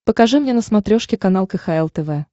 покажи мне на смотрешке канал кхл тв